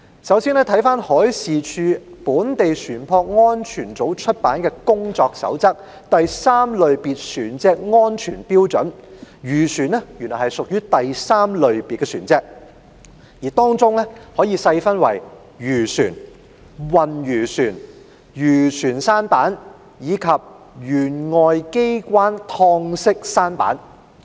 首先，根據海事處本地船舶安全組出版的《工作守則——第 III 類別船隻安全標準》，漁船屬於第 III 類別船隻，而這可以細分為漁船、運魚船、漁船舢舨，以及舷外機開敞式舢舨。